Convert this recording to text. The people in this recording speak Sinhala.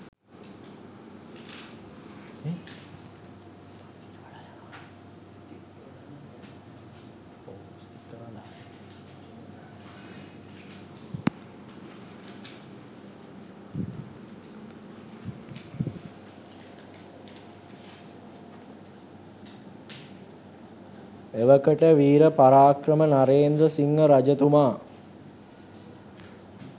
එවකට විර පරාක්‍රම නරේන්ද්‍රසිංහ රජතුමා